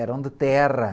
Eram de terra.